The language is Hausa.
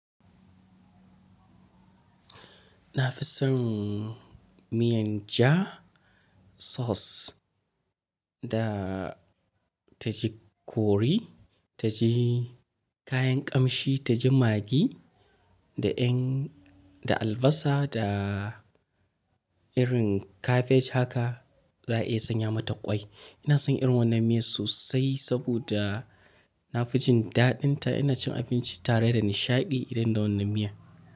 Na fi son miyan ja, sauce da ta ji kori, ta ji kayan ƙamshi, ta ji magi da albasa da irin kabej haka za a iya sanya mata ƙwai. Ina son irin wannan miya sosai saboda na fi jin daɗinta. Ina cin abinci tare da nishaɗi idan da wannan miya.